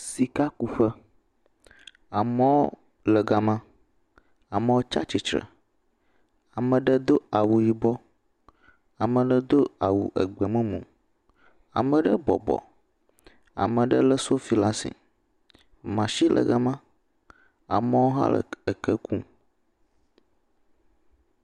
Sikakuƒe, amewo le gama, amewo tsatsitre, ame ɖe do awu yibɔ, ame ɖe do awu gbemumu, ame ɖe bɔbɔ, amewo lé sofi ɖe asi, matsin le game, amewo hã le eke ku.